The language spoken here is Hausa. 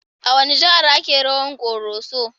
A wace jiha ake rawan Koroso?